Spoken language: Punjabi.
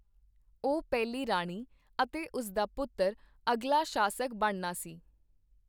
ਉਹ ਪਹਿਲੀ ਰਾਣੀ ਅਤੇ ਉਸ ਦਾ ਪੁੱਤਰ ਅਗਲਾ ਸ਼ਾਸਕ ਬਣਨਾ ਸੀ।